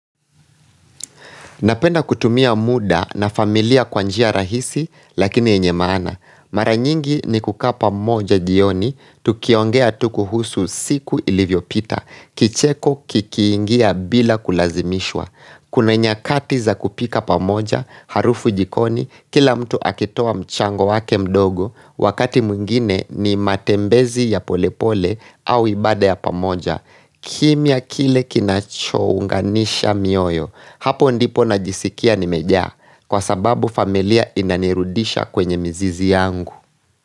Napenda kutumia muda na familia kwa njia rahisi lakini yenye maana. Mara nyingi ni kukaa pa moja jioni, tukiongea tu kuhusu siku ilivyo pita, kicheko kikiingia bila kulazimishwa. Kuna nyakati za kupika pamoja, harufu jikoni, kila mtu akitoa mchango wake mdogo, wakati mwingine ni matembezi ya polepole au ibada ya pamoja. Kimya kile kinacho unganisha mioyo. Hapo ndipo najisikia nimejaa, kwa sababu familia inanirudisha kwenye mizizi yangu.